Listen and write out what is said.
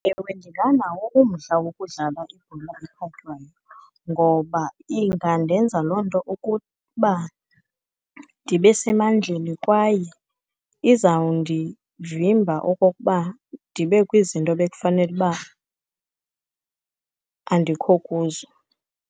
Ewe, ndinganawo umdla wokudlala ibhola ekhatywayo ngoba ingandenza loo nto ukuba ndibe semandleni, kwaye izawundivimba okokuba ndibe kwizinto bekufanele uba andikho kuzo.